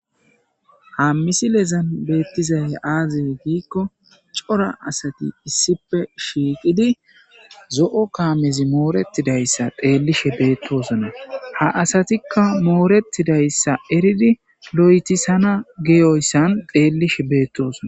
Ham misile lezan beettizay aaze giikko cora asati issipe shiiqidi zo'o kaamezi mooretidayssa xeellishe beettosona ha asatikka mooretidayssa eridi lo'etisana geyoyssan xeellishe beettosona.